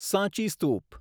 સાંચી સ્તૂપ